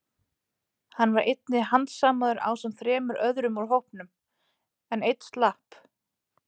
Hann var einnig handsamaður ásamt þremur öðrum úr hópnum, en einn slapp.